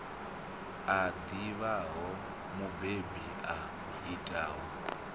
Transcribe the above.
a ḓivhaho mubebi a itaho